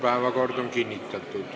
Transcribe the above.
Päevakord on kinnitatud.